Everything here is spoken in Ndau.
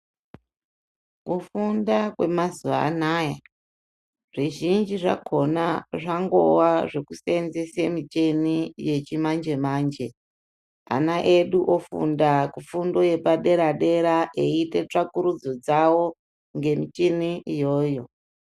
Kufunda kwemazuwaanaya zvizhinji zvakona zvangova zvekusenzesa micheni yechimanje manje ana edu ofunda kufundo yepadera dera eiite tsvakurudzo dzao ngemicheni iyoyo.